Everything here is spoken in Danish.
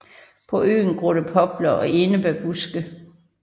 På øen gror der popler og enebærbuske